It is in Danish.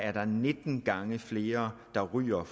er der nitten gange flere unge rygere